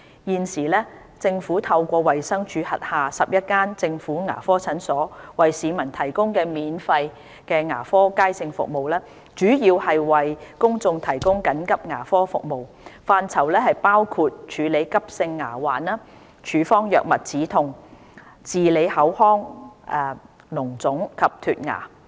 現時政府透過衞生署轄下11間政府牙科診所為市民提供的免費牙科街症服務，主要為公眾提供緊急牙科服務，範疇包括處理急性牙患、處方藥物止痛、治理口腔膿腫及脫牙。